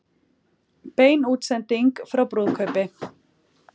Bein útsending frá brúðkaupi